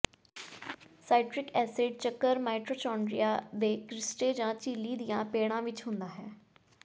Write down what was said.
ਸਾਈਟਟ੍ਰਿਕ acid ਚੱਕਰ mitochondria ਦੇ cristae ਜਾਂ ਝਿੱਲੀ ਦੀਆਂ ਪੇੜਾਂ ਵਿਚ ਹੁੰਦਾ ਹੈ